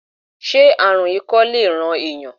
Se aarun ikọ le ran eeyan?